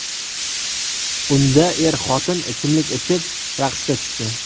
Unda er-xotin ichimlik ichib, raqsga tushdi.